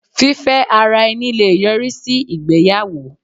Fífẹ́ ara ẹni le yọrí sí ìgbéyàwó.